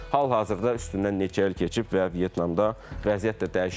Hal-hazırda üstündən neçə il keçib və Vyetnamda vəziyyət də dəyişib.